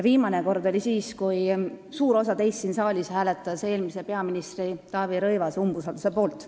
Viimane kord oli siis, kui suur osa teist siin saalis hääletas eelmise peaministri Taavi Rõivase umbusaldamise poolt.